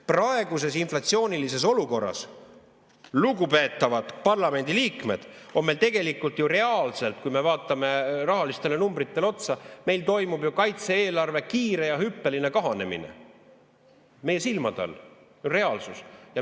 Praeguses inflatsioonilises olukorras, lugupeetavad parlamendiliikmed, toimub meil tegelikult ju reaalselt, kui me vaatame rahalistele numbritele otsa, kaitse-eelarve kiire hüppeline kahanemine meie silmade all, reaalsuses.